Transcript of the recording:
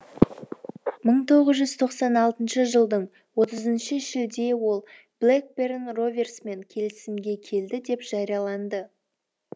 бір мың тоғыз жүз тоқсан алтыншы жылдың отызыншы шілде ол блэкберн роверсмен келісімге келді деп жарияланды